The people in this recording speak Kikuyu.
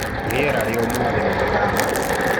Rĩera rĩa ũmũthĩ nĩ rĩramakia.